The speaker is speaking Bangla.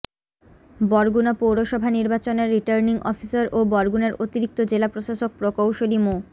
বরগুনা পৌরসভা নির্বাচনের রিটার্নিং অফিসার ও বরগুনার অতিরিক্ত জেলা প্রশাসক প্রকৌশলী মো